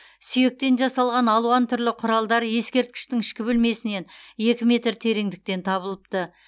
сүйектен жасалған алуан түрлі құралдар ескерткіштің ішкі бөлмесінен екі метр тереңдіктен табылыпты